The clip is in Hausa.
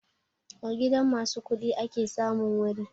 A gidan ma su kuɗi ake samun wuri